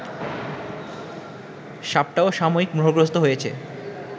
সাপটাও সাময়িক মোহগ্রস্ত হয়েছে